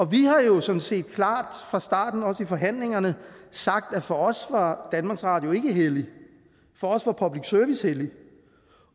vi har jo sådan set klart fra starten også i forhandlingerne sagt at for os var danmarks radio ikke helligt for os var public service helligt